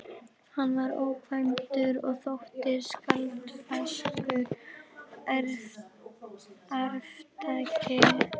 Hann var ókvæntur og þótti sjálfsagður arftaki föður síns.